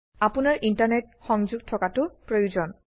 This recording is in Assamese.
আপোনাৰ ইন্টাৰনেট সংযোগ থকাতো প্ৰয়োজন